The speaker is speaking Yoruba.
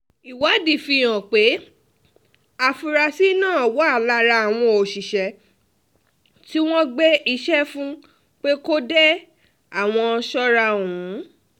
ìwádìí fíhàn pé àfúráṣí náà wà lára àwọn òṣìṣẹ́ tí wọ́n gbéṣẹ́ fún pé kó de àwọn sọ́ra ọ̀hún